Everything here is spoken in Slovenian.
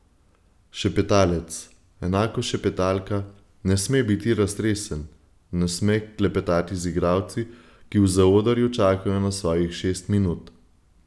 Šepetalec, enako šepetalka, ne sme biti raztresen, ne sme klepetati z igralci, ki v zaodrju čakajo na svojih šest minut.